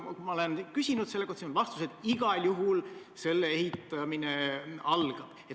Ma olen küsinud selle kohta ja saanud vastuse, et igal juhul selle ehitamine algab.